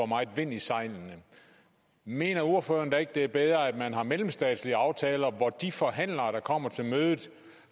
meget vind i sejlene mener ordføreren da ikke det er bedre at man har mellemstatslige aftaler hvor de forhandlere der kommer til mødet